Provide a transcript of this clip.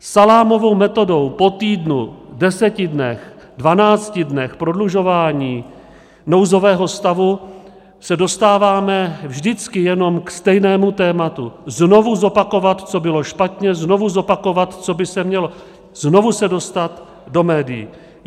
Salámovou metodou po týdnu, deseti dnech, dvanácti dnech prodlužování nouzového stavu se dostáváme vždycky jenom k stejnému tématu - znovu zopakovat, co bylo špatně, znovu zopakovat, co by se mělo, znovu se dostat do médií.